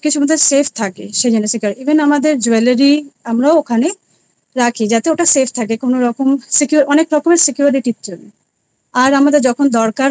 save থাকে save and secure even আমাদের jewellery রাখি যেটা ওইটা save থাকে কোনো রকম security র জন্য আর আমাদের যখন দরকার হয়